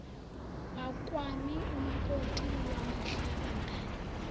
wakwami umakoti wamahlabangani